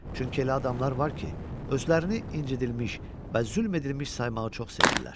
Çünki elə adamlar var ki, özlərini incidilmiş və zülm edilmiş saymağı çox sevirlər.